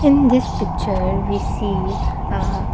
in this picture we see a --